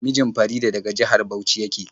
Mijin Farida daga jihar Bauchi yake.